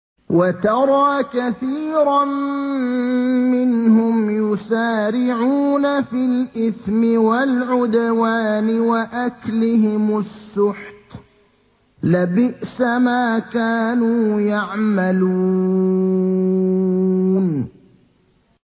وَتَرَىٰ كَثِيرًا مِّنْهُمْ يُسَارِعُونَ فِي الْإِثْمِ وَالْعُدْوَانِ وَأَكْلِهِمُ السُّحْتَ ۚ لَبِئْسَ مَا كَانُوا يَعْمَلُونَ